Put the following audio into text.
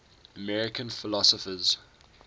american philosophers